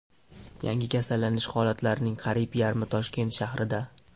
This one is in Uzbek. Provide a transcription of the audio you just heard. Yangi kasallanish holatlarning qariyb yarmi Toshkent shahrida.